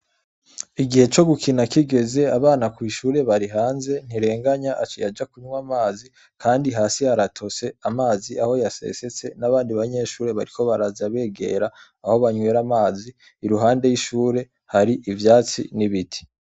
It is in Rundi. Igihe co gukina kigeze abana kw'ishure bari hanze Ntirenganya aciye aja kunywa amazi, kandi hasi haratose amazi aho yasesetse n'abandi banyeshure bariko baraza begera aho banywera amazi iruhande y'ishure hari ivyatsi n'ibiti.